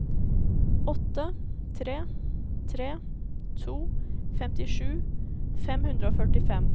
åtte tre tre to femtisju fem hundre og førtifem